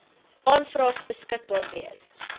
aanvraag beskikbaar wees